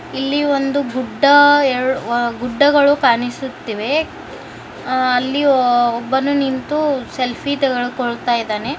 ಇಲ್ಲಿ ಒಂದು ಗುಡ್ಡ ಎರಡು ಗುಡ್ಡಗಳು ಕಾಣಿಸುತಿವೆ ಅಲ್ಲಿ ಒಬ್ಬನು ನಿಂತು ಸೆಲ್ಫಿ ತೆಗೆದುಕೊಳ್ತಾಯಿದ್ದಾನೆ.